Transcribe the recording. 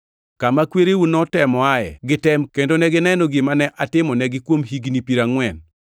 kama kwereu notemoae gi tem kendo negineno gima ne atimonegi kuom higni piero angʼwen.